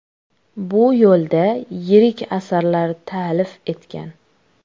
Bu yo‘lda yirik asarlar ta’lif etgan.